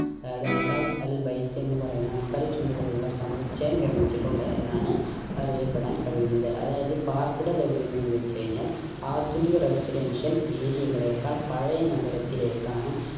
അതായത് Abraj Al Bait എന്ന് പറയുന്ന അംബര ചുംബികൾ ഉള്ള സമുച്ചയം നിർമിച്ചിട്ടുണ്ട് എന്നാണ് അറിയപ്പെടാൻ കഴിയുന്നത് അതായത് പാർപ്പിട സൗകര്യം എന്ന് വെച് കഴിഞാൽ ആധുനിക residential area കളേക്കാൾ പഴയ നഗരത്തിലേക്കാണ്